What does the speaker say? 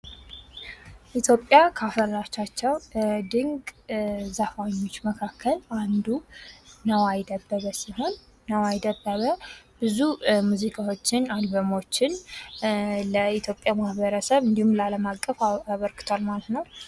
ኢትዮጵያ ካፈራቻ ዘፋኞች አንዱ ነዋይ ደበበ ሲሆን ብዙ ሙዚቃዎችን ለኢትዮጵያ ማህበረሰብ እንዲሁም ላለማቀፍ አበርክቷል ማለት ነው